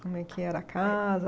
Como é que era a casa?